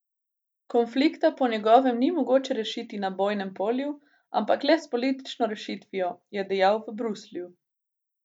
Konflikta po njegovem ni mogoče rešiti na bojnem polju, ampak le s politično rešitvijo, je dejal v Bruslju.